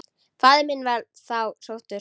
Faðir minn var þá sóttur.